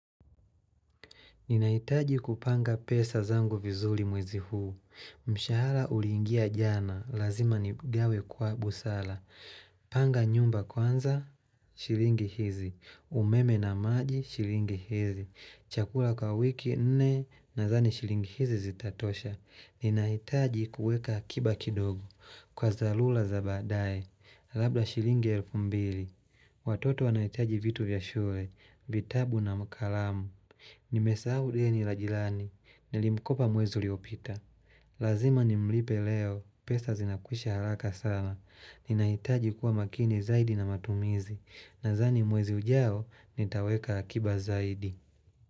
Ninahitaji kupanga pesa zangu vizuri mwezi huu. Mshahara uliingia jana, lazima niugawe kwa busara. Panga nyumba kwanza, shilingi hizi. Umeme na maji, shilingi hizi. Chakula kwa wiki nne, nadhani shilingi hizi zitatosha. Ninahitaji kuweka akiba kidogo, kwa dharura za baadaye. Labda shilingi elfu mbili. Watoto wanahitaji vitu vya shule, vitabu na kalamu. Nimesahau deni la jirani, nilimkopa mwezi uliopita Lazima nimlipe leo, pesa zinakwisha haraka sana Ninahitaji kuwa makini zaidi na matumizi Nadhani mwezi ujao, nitaweka akiba zaidi.